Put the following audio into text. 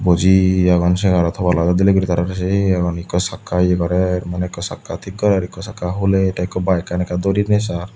buji agawn segarot hobalot aat dinei guri tarare se agon ekko sakka ye gorer maney ekko sakka tik gorer ekko sakka hulair te ekko bike an ekka durinei sar.